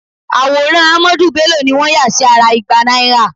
Àwòrán Ahmadu Bello ni wọ́n yà sí ara igba náírà